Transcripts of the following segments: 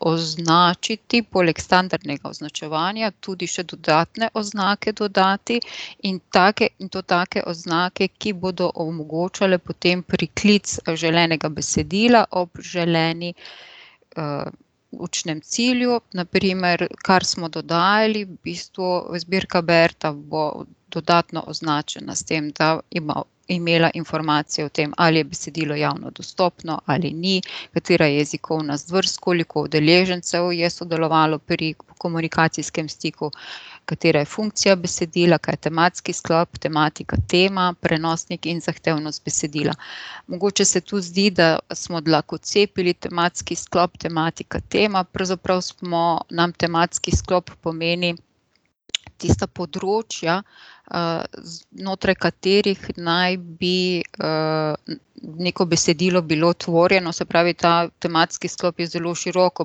označiti poleg standardnega označevanja tudi še dodatne oznake dodati. In take, in to take oznake, ki bodo omogočale potem priklic želenega besedila ob želeni, učnem cilju, na primer, kar smo dodajali, v bistvu zbirka Berta bo dodatno označena, s tem da ima, imela informacijo o tem, ali je besedilo javno dostopno ali ni, katera je jezikovna zvrst, koliko udeležencev je sodelovalo pri komunikacijskem stiku, katera je funkcija besedila, kaj je tematski sklop, tematika, tema, prenosniki in zahtevnost besedila. Mogoče se to zdi, da smo dlakocepili tematski sklop, tematika, tema, pravzaprav smo, nam tematski sklop pomeni tista področja, znotraj katerih naj bi, neko besedilo bilo tvorjeno, se pravi ta tematski sklop je zelo široko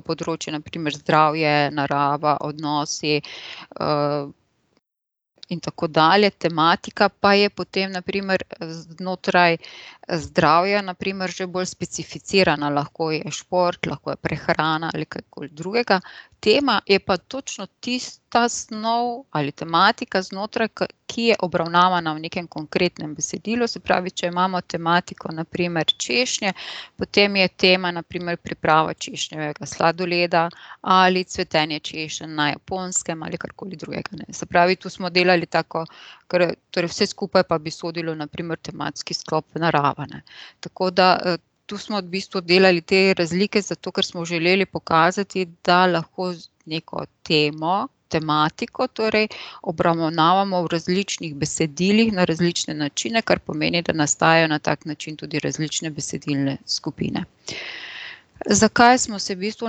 področje, na primer zdravje, narava, odnosi, in tako dalje, tematika pa je potem na primer znotraj zdravja, na primer že bolj specificirana, lahko je šport, lahko je prehrana ali kaj koli drugega. Tema je pa točno tista snov ali tematika znotraj ki je obravnavana v nekem konkretnem besedilu, se pravi, če imamo tematiko, na primer češnje, potem je tema na primer priprava češnjevega sladoleda ali cvetenje češenj na Japonskem ali karkoli drugega, ne, se pravi, tu smo delali tako torej vse skupaj pa bi sodilo na primer v tematski sklop narava, ne. Tako da, tu smo v bistvu delali te razlike, zato ker smo želeli pokazati, da lahko z neko temo, tematiko torej obravnavamo v različnih besedilih na različne načine, kar pomeni, da nastajajo na tak način tudi različne besedilne skupine. Zakaj smo se v bistvu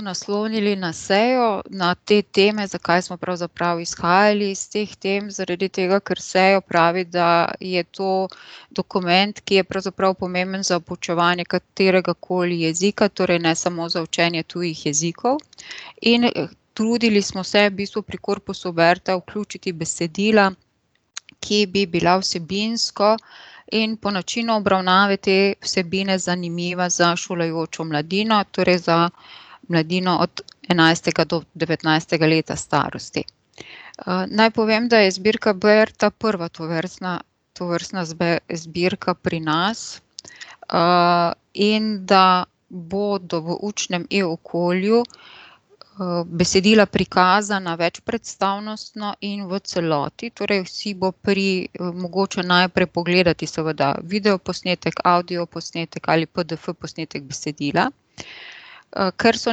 naslonili na Sejo, na te teme, zakaj smo pravzaprav izhajali iz teh tem, zaradi tega, ker Sejo pravi, da je to dokument, ki je pravzaprav pomemben za poučevanje kateregakoli jezika, torej ne samo za učenje tujih jezikov. In trudili smo se v bistvu pri korpusu Berta vključiti besedila, ki bi bila vsebinsko in po načinu obravnave te vsebine zanimiva za šolajočo mladino, torej za mladino od enajstega do devetnajstega leta starosti. naj povem, da je zbirka Berta prva tovrstna, tovrstna zbirka pri nas, in da bodo v učnem e-okolju, besedila prikazana večpredstavnostno in v celoti, torej si bo pri mogoče najprej pogledati seveda videoposnetek, avdioposnetek ali pdf posnetek besedila. ker so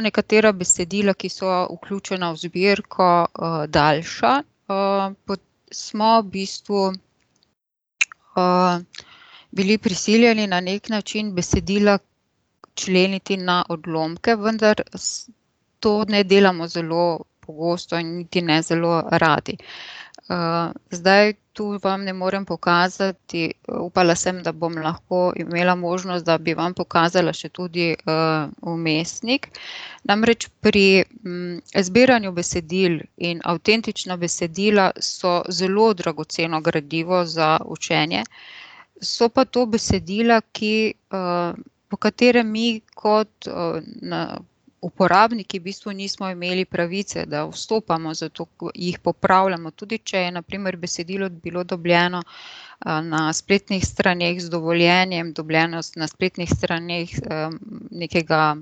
nekatera besedila, ki so vključena v zbirko, daljša, smo v bistvu, bili prisiljeni na neki način besedila členiti na odlomke, vendar to ne delamo zelo pogosto in niti ne zelo radi. zdaj tu vam ne morem pokazati, upala sem, da bom lahko imela možnost, da bi vam pokazala še tudi, vmesnik, namreč pri, zbiranju besedil in avtentična besedila so zelo dragoceno gradivo za učenje, so pa to besedila, ki, po katerem mi kot, na uporabniki v bistvu nismo imeli pravice, da vstopamo zato, jih popravljamo, tudi če je na primer besedilo bilo dobljeno, na spletnih straneh z dovoljenjem, dobljeno na spletnih straneh, nekega,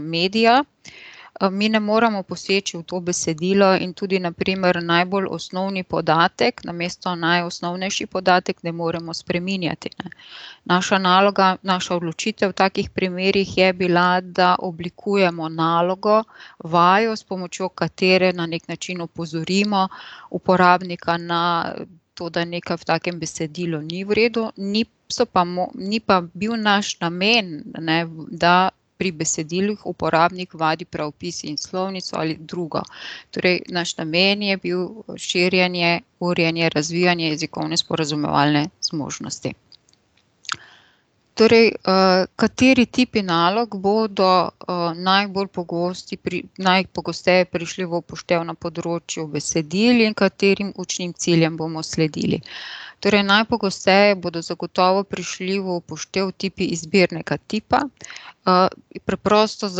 medija, mi ne moremo poseči v to besedilo in tudi na primer najbolj osnovni podatek namesto najosnovnejši podatek ne moremo spreminjati, ne. Naša naloga, naša odločitev v takih primerih je bila, da oblikujemo nalogo, vajo, s pomočjo katere na neki način opozorimo uporabnika na to, da nekaj v takem besedilu ni v redu, niso pa ni pa bil naš namen, ne, da pri besedilih uporabnik vadi pravopis in slovnico ali drugo. Torj naš namen je bil širjenje, urjenje, razvijanje jezikovne sporazumevalne zmožnosti. Torej, kateri tipi nalog bodo, najbolj pogosti najpogosteje prišli v poštev na področju besedil in katerim učnim ciljem bomo sledili? Torej najpogosteje bodo zagotovo prišli v poštev tipi izbirnega tipa, preprosto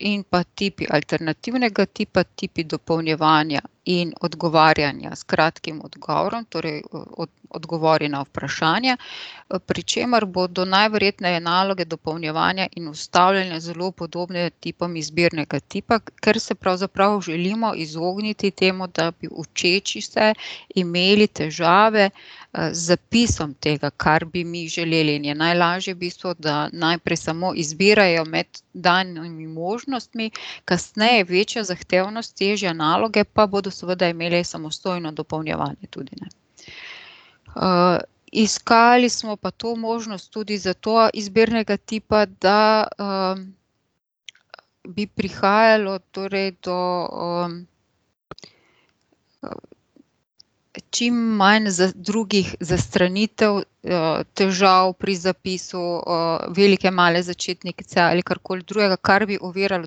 in pa tipi alternativnega tipa, tipi dopolnjevanja in odgovarjanja s kratkim odgovorom, torej odgovori na vprašanje, pri čemer bodo najverjetneje naloge dopolnjevanja in vstavljanja zelo podobne tipom izbirnega tipa, ker se pravzaprav želimo izogniti temu, da bi učeči se imeli težave, z zapisom tega, kar bi mi želeli, in je najlažje v bistvu, da najprej samo izbirajo med danimi možnostmi, kasneje večja zahtevnost, težje naloge, pa bodo seveda imeli samostojno dopolnjevanje tudi, ne. iskali smo pa to možnost tudi zato izbirnega tipa, da, bi prihajalo torej do, čim manj drugih zastranitev, težav pri zapisu, velike, male začetnice ali karkoli drugega, kar bi oviralo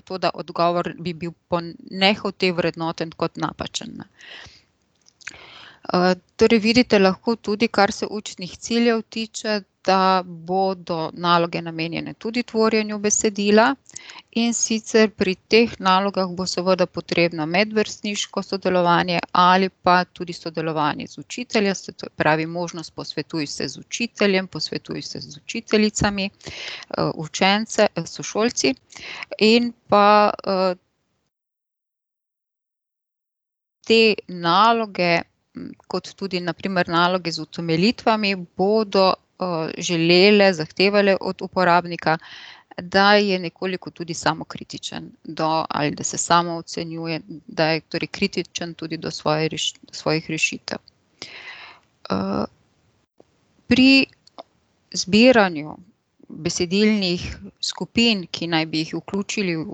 to, da odgovor bi bil po nehote vrednoten kot napačen, ne. torej vidite lahko tudi, kar se učnih ciljev tiče, da bodo naloge namenjene tudi tvorjenju besedila, in sicer pri teh nalogah bo seveda potrebno medvrstniško sodelovanje ali pa tudi sodelovanje z učiteljem, se to pravi, možnost posvetuj se z učiteljem, posvetuj se z učiteljicami, učenci, sošolci, in pa, te naloge, kot tudi na primer naloge z utemeljitvami bodo, želele, zahtevale od uporabnika, da je nekoliko tudi samokritičen do, ali da se samoocenjuje, da je torej kritičen tudi do svoje svojih rešitev. pri zbiranju besedilnih skupin, ki naj bi jih vključili v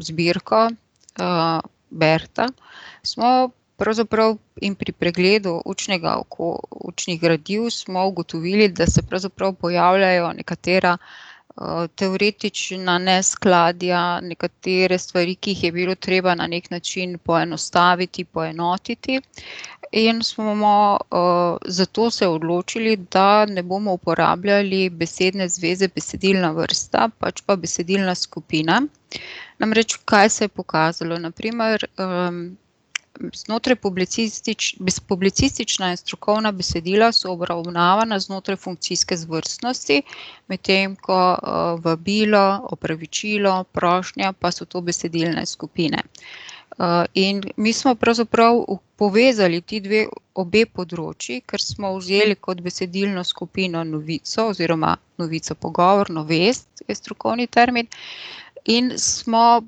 zbirko, Berta, smo pravzaprav jim pri pregledu učnega, učnih gradiv smo ugotovili, da se pravzaprav pojavljajo nekatera, teoretična neskladja, nekatere stvari, ki jih je bilo treba na neki način poenostaviti, poenotiti. In smo zato se odločili, da ne bomo uporabljali besedne zveze besedilna vrsta, pač pa besedilna skupina. Namreč kaj se je pokazalo, na primer, znotraj publicistična in strokovna besedila so obravnavana znotraj funkcijske zvrstnosti. Medtem ko, vabilo, opravičilo, prošnja pa so to besedilne skupine. in mi smo pravzaprav povezali ti dve obe področju, ker smo vzeli kot besedilno skupino novico oziroma novico, pogovorno vest, je strokovni termin, in smo,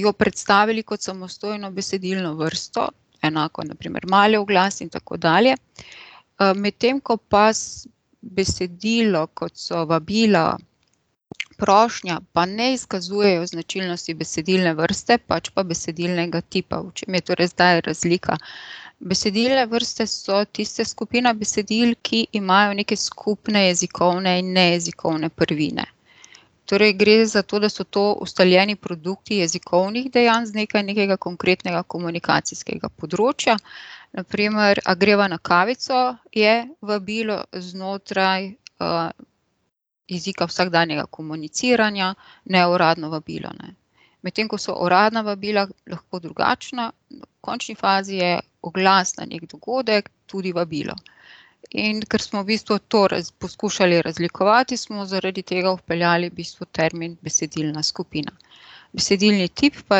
jo predstavili kot samostojno besedilno vrsto, enako je na primer mali oglas in tako dalje, medtem ko pa besedilo, kot so vabila, prošnja, pa ne izkazujejo značilnosti besedilne vrste, pač pa besedilnega tipa, v čem je torej zdaj razlika? Besedilne vrste so tiste skupine besedil, ki imajo neke skupne jezikovne in nejezikovne prvine. Torej gre za to, da so to ustaljeni produkti jezikovnih dejanj z nekaj nekega konkretnega komunikacijskega področja, na primer "A greva na kavico?" je vabilo znotraj, jezika vsakdanjega komuniciranja, neuradno vabilo, ne. Medtem ko so uradna vabila lahko drugačna, v končni fazi je oglas na neki dogodek tudi vabilo. In ker smo v bistvu torej poskušali razlikovati, smo zaradi tega vpeljali v bistvu termin besedilna skupina. Besedilni tip pa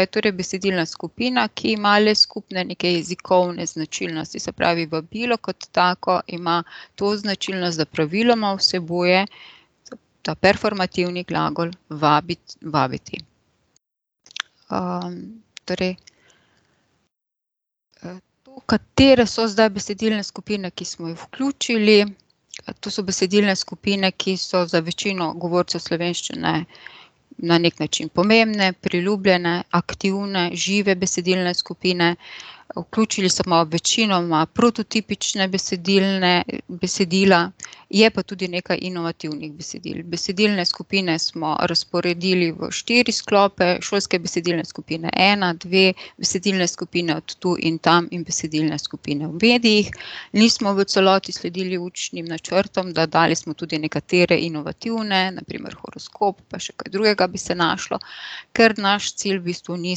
je torej besedilna skupina, ki ima le skupne neke jezikovne značilnosti, se pravi vabilo kot tako ima to značilnost, da praviloma vsebuje ta performativni glagol vabiti, vabiti. torej, katere so zdaj besedilne skupine, ki smo jih vključili? To so besedilne skupine, ki so za večino govorcev slovenščine na neki način pomembne, priljubljene, aktivne, žive besedilne skupine, vključili smo večinoma prototipične besedilne, besedila, je pa tudi nekaj inovativnih besedil, besedilne skupine smo razporedili v štiri sklope, šolske besedilne skupine ena, dve, besedilne skupine od tu in tam in besedilne skupine v medijih. Nismo v celoti sledili učnim načrtom, dodali smo tudi nekatere inovativne, na primer horoskop, pa še kaj drugega bi se našlo. Ker naš cilj v bistvu ni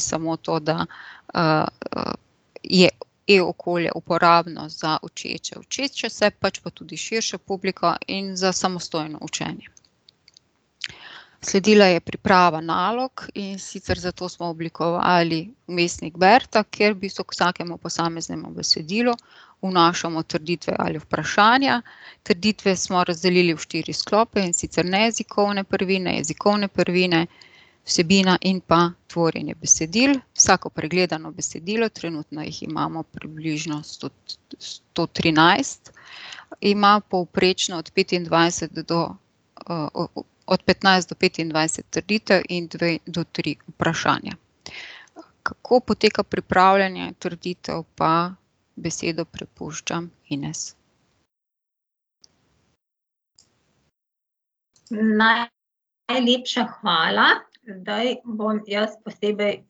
samo to, da, je e-okolje uporabno za učeče, učeče se, pač pa tudi širšo publiko in za samostojno učenje. Sledila je priprava nalog, in sicer za to smo oblikovali vmesnik Berta, kjer v bistvu za k vsakemu posameznemu besedilu vnašamo trditve ali vprašanja. Trditve smo razdelili v štiri sklope, in sicer nejezikovne prvine, jezikovne prvine, vsebina in pa tvorjenje besedil, vsako pregledano besedilo, trenutno jih imamo približno sto trinajst, ima povprečno od petindvajset do, od petnajst do petindvajset trditev in dve do tri vprašanja. Kako poteka pripravljanje trditev, pa besedo prepuščam Ines. Najlepša hvala, zdaj bom jaz posebej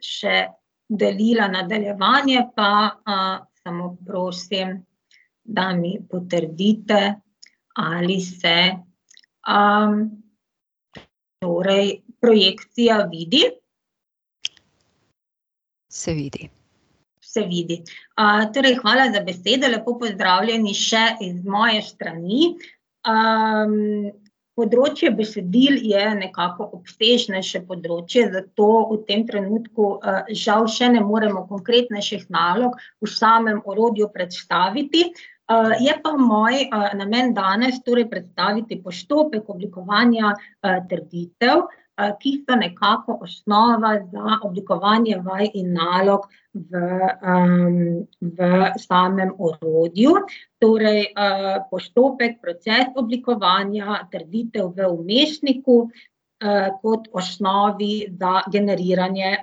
še delila nadaljevanje, pa, samo prosim, da mi potrdite, ali se, torej projekcija vidi. Se vidi. Se vidi. torej hvala za besedo, lepo pozdravljeni še iz moje strani, področje besedil je nekako obsežnejše področje, zato v tem trenutku, žal še ne moremo konkretnejših nalog v samem orodju predstaviti, je pa moj, namen danes torej predstaviti postopek oblikovanja, trditev, ki so nekako osnova za oblikovanje vaj in nalog v, v samem orodju. Torej, postopek, proces oblikovanja trditev v vmesniku, kot osnovi za generiranje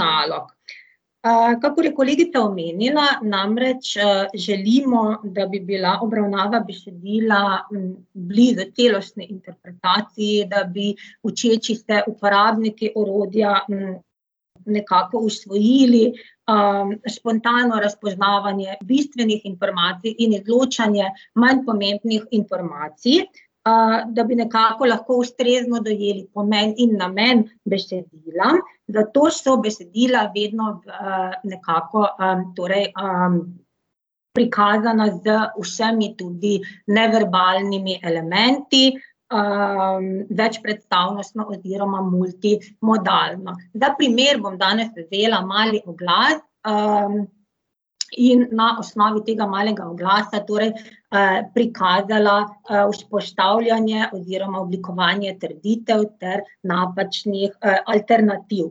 nalog. kakor je kolegica omenila, namreč, želimo, da bi bila obravnava besedila blizu celostni interpretaciji, da bi učeči se uporabniki orodja, nekako usvojili, spontano razpoznavanje bistvenih informacij in izločanje manj pomembnih informacij, da bi nekako lahko ustrezno dojeli pomen in namen besedila, zato so besedila vedno v nekako, torej, prikazana z vsemi tudi neverbalnimi elementi, večpredstavnostno oziroma multimodalno. Za primer bom danes vzela mali oglas, in na osnovi tega malega oglasa torej, prikazala, vzpostavljanje oziroma oblikovanje trditev ter napačnih, alternativ.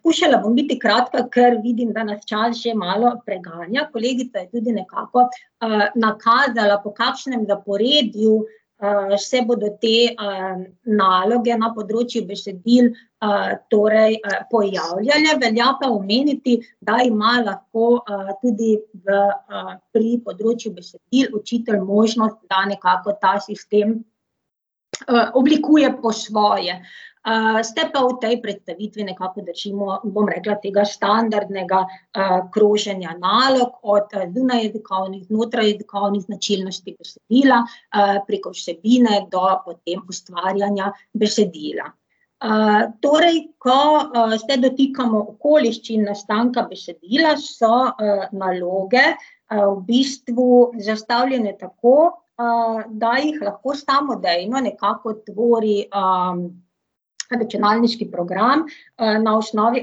skušala bom biti kratka, kar vidim, da nas čas že malo preganja, kolegica je tudi nekako, nakazala, po kakšnem zaporedju, se bodo te, naloge na področju besedil, torej, pojavljale, velja pa omeniti, da ima lahko, tudi z, pri področju besedil učitelj možnost, da nekako ta sistem, oblikuje po svoje. se pa v tej predstavitvi nekako držimo, bom rekla, tega standardnega, kroženja nalog, od zunajjezikovnih, znotrajjezikovnih značilnosti besedila, preko vsebine do potem ustvarjanja besedila. torej ko, se dotikamo okoliščin nastanka besedila, so, naloge, v bistvu zastavljene tako, da jih lahko samodejno nekako tvori, računalniški program, na osnovi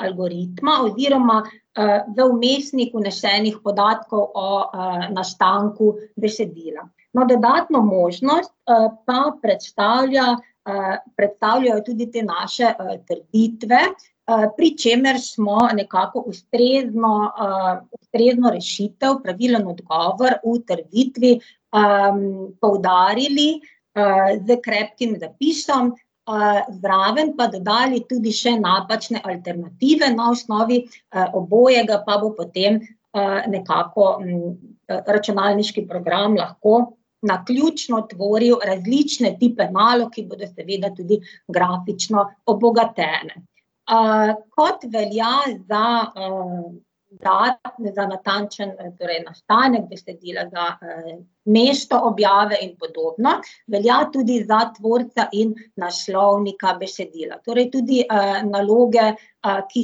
algoritma oziroma, v vmesnik vnesenih podatkov o, nastanku besedila. No, debatno možnost, pa predstavlja, predstavljajo tudi te naše, trditve, pri čemer smo nekako ustrezno, ustrezno rešitev, pravilen odgovor v trditvi, poudarili, s krepkim zapisom, zraven pa dodali tudi še napačne alternative, na osnovi, obojega pa bo potem, nekako, računalniški program lahko naključno tvoril različne tipe nalog, ki bodo seveda tudi grafično obogatene. kot velja za, za natančen torej nastanek besedila, za, mesto objave in podobno, velja tudi za tvorca in naslovnika besedila, torej tudi, naloge, ki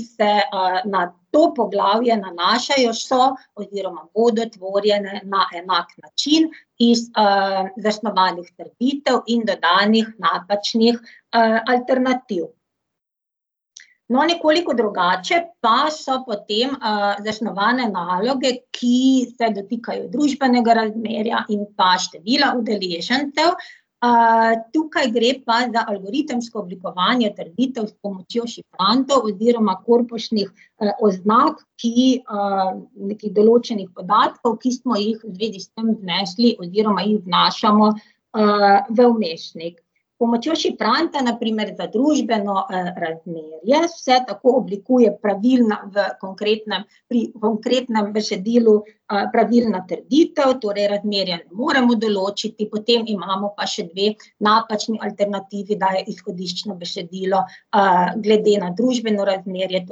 se na, to poglavje nanašajo, so oziroma bodo tvorjene na enak način iz, zasnovanih trditev in dodanih napačnih, alternativ. No, nekoliko drugače pa so potem, zasnovane naloge, ki se dotikajo družbenega razmerja in pa števila udeležencev, tukaj gre pa za algoritemsko oblikovanje trditev s pomočjo šifrantov oziroma korpusnih, oznak, ki, nekih določenih podatkov, ki smo jih v zvezi s tem vnesli oziroma jih vnašamo, v vmesnik. S pomočjo šifranta, na primer, za družbeno, razmerje se tako oblikuje pravilna v konkretnem, pri konkretnem besedilu, pravilna trditev, torej razmerja ne moremo določiti, potem imamo pa še dve napačni alternativi, da je izhodiščno besedilo, glede na družbeno razmerje,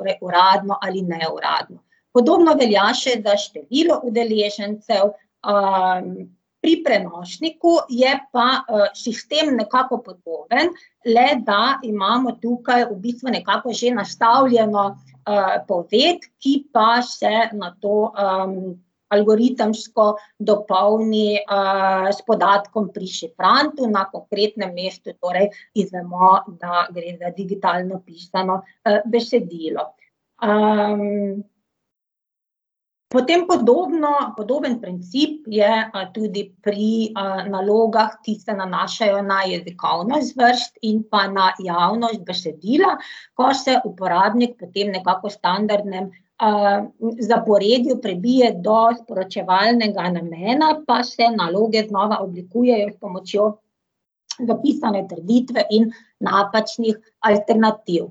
torj uradno ali neuradno. Podobno velja še za število udeležencev, pri prenosniku je pa, sistem nekako podoben, le da imamo tukaj v bistvu nekako že nastavljeno, poved, ki pa se na to, algoritemsko dopolni, s podatkom pri šifrantu, na konkretnem mestu torej izvemo, da gre za digitalno pisano, besedilo. potem podobno, podoben princip je, tudi pri nalogah, ki se nanašajo na jezikovno zvrst in pa na javnost besedila, ko se uporabnik po tem, nekako standardnem, zaporedju prebije do sporočevalnega namena, pa se naloge znova oblikujejo s pomočjo zapisane trditve in napačnih alternativ.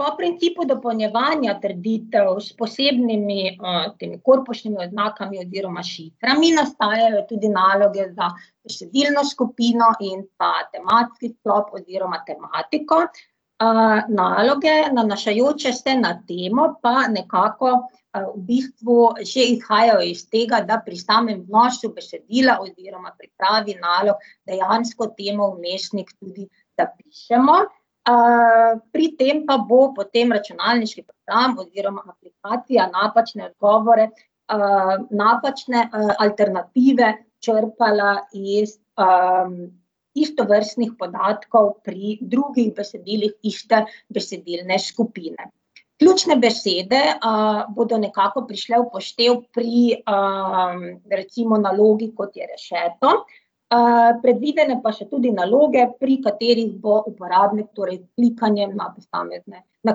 po principu dopolnjevanja trditev s posebnimi, s temi korpusnimi oznakami oziroma šiframi nastajajo tudi naloge za besedilno skupino in pa tematski sklop oziroma tematiko. naloge, nanašajoče se na temo, pa nekako, v bistvu že izhajajo iz tega, da pri samem vnosu besedila oziroma pri pripravi nalog dejansko temo v vmesnik tudi zapišemo. pri tem pa bo potem računalniški program oziroma aplikacija napačne odgovore, napačne, alternative črpala iz, istovrstnih podatkov pri drugih besedilih iste besedilne skupine. Ključne besede, bodo nekako prišli v poštev pri, recimo nalogi, kot je rešeto, predvidene pa so tudi naloge, pri katerih bo uporabnik, torej klikanje na posamezne ... Na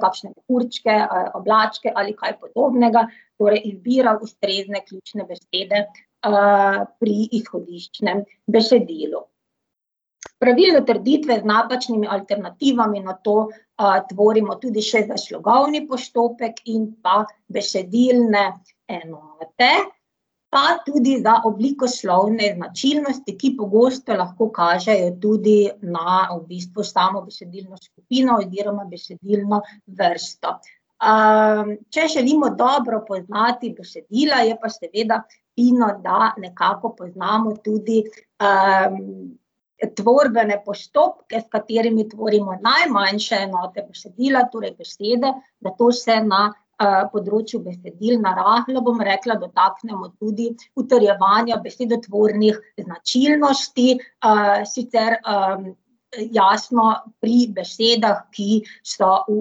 kakšne mehurčke, oblačke ali kaj podobnega. Torej izbira ustrezne ključne besede, pri izhodiščnem besedilu. Pravilne trditve z napačnimi alternativami nato, tvorimo tudi še za slogovni postopek in pa besedilne enote, pa tudi za oblikoslovne značilnosti, ki pogosto lahko kažejo tudi na v bistvu samo besedilno vsebino oziroma besedilno vrsto. če želimo dobro poznati besedila, je pa seveda fino, da nekako poznamo tudi, tvorbene postopke, s katerimi tvorimo najmanjše enote besedila, torej besede, da to se na, področju besedil na rahlo, bom rekla, dotaknemo tudi utrjevanja besedotvornih značilnosti, sicer, jasno pri besedah, ki so v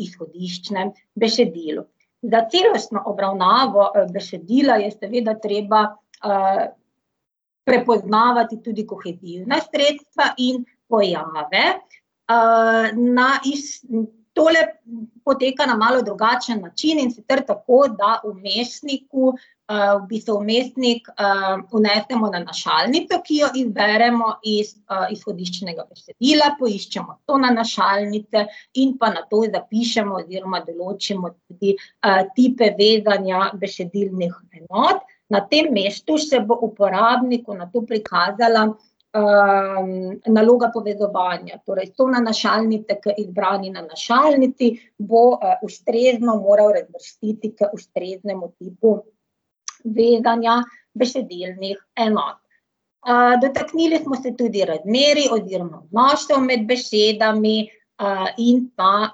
izhodiščnem besedilu. Za celostno obravnavo besedila je seveda treba, prepoznavati tudi kohezivna sredstva in pojave. na ... Tole poteka na malo drugačen način, in sicer tako, da vmesniku, v bistvu v vmesnik, vnesemo nanašalnico, ki jo izberemo iz izhodiščnega besedila, poiščemo sonanašalnice in pa nato zapišemo oziroma določimo tudi, tipe vezanja besedilnih enot, na tem mestu se bo uporabniku nato prikazala, naloga povezovanja, torej sonanašalnice k izbrani nanašalnici bo, ustrezno moral razvrstiti k ustreznemu tipu vezanja besedilnih enot. dotaknili smo se tudi razmerij oziroma odnosov med besedami, in pa,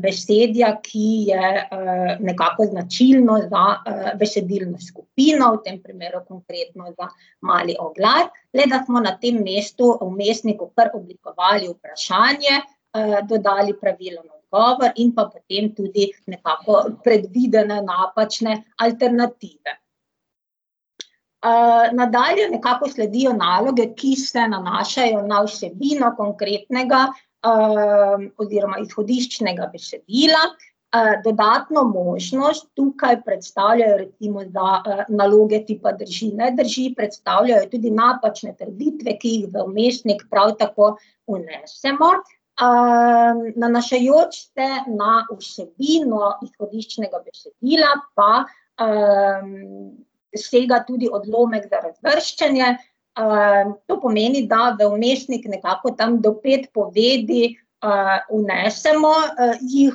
besedja, ki je, nekako značilno za, besedilno skupino, v tem primeru konkretno za mali oglas, le da smo na tem mestu vmesniku kar oblikovali vprašanje, dodali pravilen odgovor in pa potem tudi nekako predvidene napačne alternative. nadalje nekako sledijo naloge, ki se nanašajo na vsebino konkretnega, oziroma izhodiščnega besedila. dodatno možnost tukaj predstavljajo recimo za naloge tipa drži-ne drži, predstavljajo tudi napačne trditve, ki jih v vmesnik prav tako vnesemo. nanašajoč se na vsebino izhodiščnega besedila, pa, sega tudi odlomek za razvrščanje, to pomeni, da v vmesnik nekako tam do pet povedi, vnesemo, jih,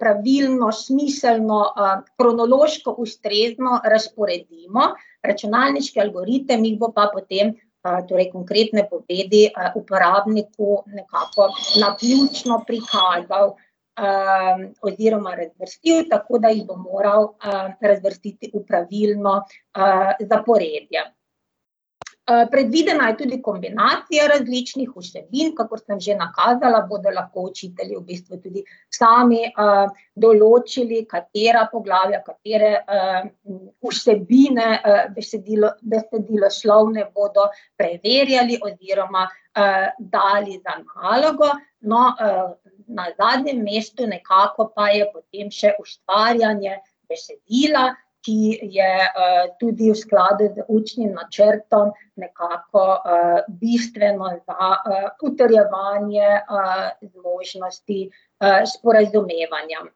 pravilno, smiselno, kronološko ustrezno razporedimo, računalniški algoritem jih bo pa potem, torej konkretne povedi uporabniku nekako naključno prikazal, oziroma razvrstil, tako da jih bo moral, razvrstiti v pravilno, zaporedje. predvidena je tudi kombinacija različnih vsebin, kakor sem že nakazala, bodo lahko učitelji v bistvu tudi sami, določili, katera poglavja, katere, vsebine besediloslovne bodo preverjali oziroma, dali za nalogo. No, na zadnjem mestu nekako pa je potem še ustvarjanje besedila, ki je, tudi v skladu z učnim načrtom nekako, bistveno ali pa, utrjevanje, možnosti, sporazumevanja.